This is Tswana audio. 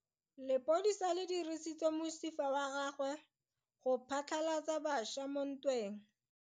Lepodisa le dirisitse mosifa wa gagwe go phatlalatsa batšha mo ntweng.